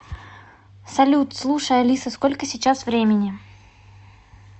салют слушай алиса сколько сейчас времени